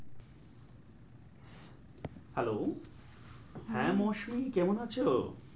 Hello হম হ্যাঁ মৌসুমী কেমন আছো?